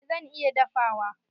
Eh zan iya dafawa.